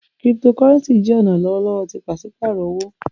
Cryptocurrency jẹ ọna lọwọlọwọ ti paṣipaarọ owo.